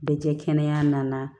Bɛ kɛ kɛnɛya na